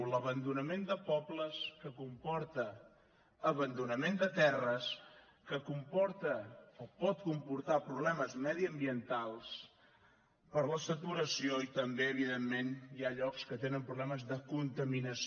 l’abandonament de pobles que comporta abandonament de terres que comporta o pot comportar problemes mediambientals per la saturació i també evidentment hi ha llocs que tenen problemes de contaminació